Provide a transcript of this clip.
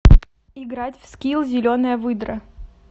играть в скилл зеленая выдра